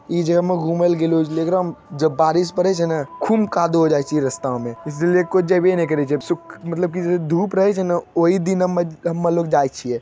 ए जगयेल हुमेल गीलों छे देखरहैल जब बारिश पड़े छेने खूम काँदो होय जाय छे रस्ता मे मतलब के धूप रहै छे ना ओहि दिन अम_अमे जाय छिये।